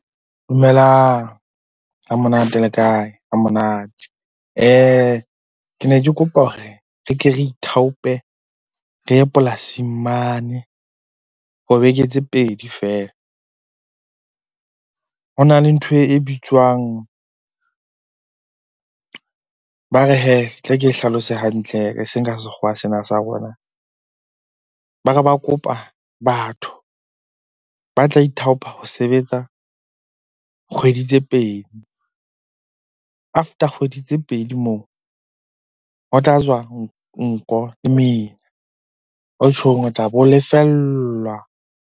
Dumelang, hamonate le kae? Hamonate. Ke ne ke kopa hore re ke re ithaope, re ye polasing mane ho beke tse pedi feela. Ho na le ntho e bitswang, ba re hee tla ke hlalose hantle eseng ka sekgowa sena sa rona. Ba re ba kopa batho ba tla ithaopa ho sebetsa kgwedi tse pedi. After kgwedi tse pedi moo, ho tla tswa nko lemina. O tjhong o tla bo o lefellwa.